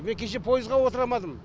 мен кеше пойызға отырамадым